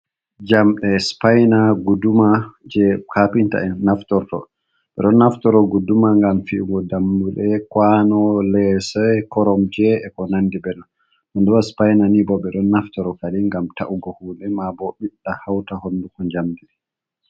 Jamɗe supaina, guɗɗuma. Je kapinta en naftorto. Be ɗon naftoro guɗɗuma. Ngam fi’ugo ɗammuɗe, kawano, lesei, koromje e ko nanɗi benon. Ɗonbo supaina ni bo be ɗon naftoro kaɗi ngam ta’ugo huɗe, ma bo biɗɗa hauta honɗuko jamɗi.